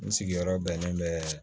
N sigiyɔrɔ bɛnnen bɛ